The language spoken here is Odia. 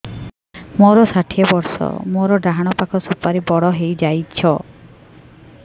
ମୋର ଷାଠିଏ ବର୍ଷ ମୋର ଡାହାଣ ପାଖ ସୁପାରୀ ବଡ ହୈ ଯାଇଛ